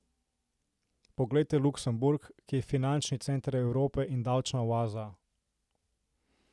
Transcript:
Poglejte Luksemburg, ki je finančni center Evrope in davčna oaza.